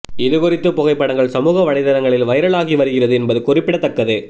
இது குறித்த புகைப்படங்கள் சமூக வலைதளங்களில் வைரல் ஆகி வருகிறது என்பது குறிப்பிடத்தக்கது